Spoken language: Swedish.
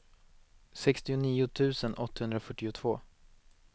sextionio tusen åttahundrafyrtiotvå